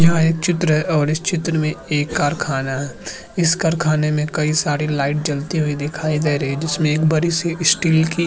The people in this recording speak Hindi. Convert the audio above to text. यह एक चित्र है और इस चित्र में एक कारखाना है इस कारखाने में कई सारी लाइट जलती हुई दिखाई दे रही हैं जिसमें एक बड़ी-सी स्टील की --